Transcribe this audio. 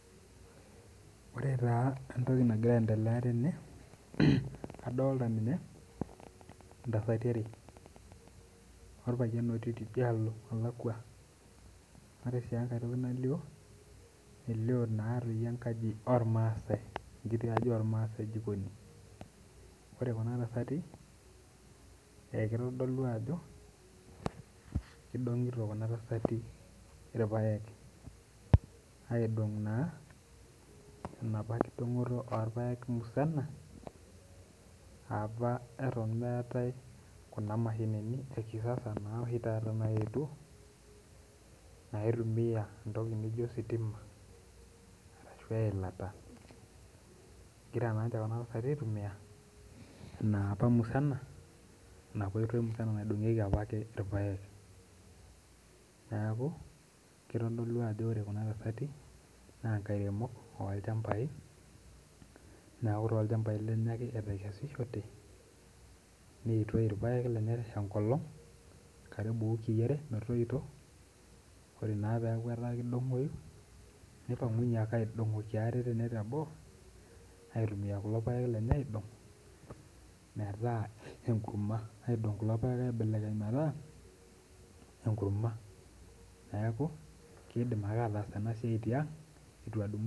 Ore taa entoki nagira aasa tene adolita ntasati are orpayian ogira aitashe tidialo nalakwa ,ore enkae toki nalio elio naa enkaji ormaasae ekiti aji ormaasai jikoni ,ore Kuna tasati kitodolu ajo kidongito kuna tasati irpaek aidong naa enapa kidongito orpaek musana apa eton meetae Kuna mashini oshi taata ekisasa naetuo naitumiyae entoki naijo ositima ashu eilata. egira naa ninche kuna tasati aitumiyia enapake oitoi musana naidongieki irpaek. neeku kitodolu ajo ore kuna tasati naa nkairemok orpaek neeku tolchampai lenye ake etekesishote neitoi apik enkolong karibu wikii are metoyio ,ore naake pee eku kidongoyu neipangunye ake aidongoki ate teboo aidong kulo paek aibelekeny mataa enkurma. neeku kidim ake aatas ena siai tiang.